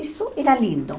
Isso era lindo.